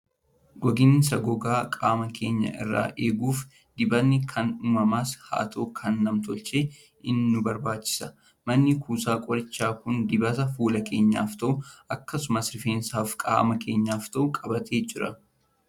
Gogiinsa gogaa qaama keenya irraa eeguuf dibatni kan uumamaas haa ta'u, kan nam-tolchee in nu barbaachisu. Manni kuusaa Qorichaa kun dibata fuula keenyaaf ta'u, akkasumas rifeensaa fi qaama keenyaaf ta'u qabatee jira.